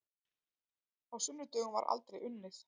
Á sunnudögum var aldrei unnið.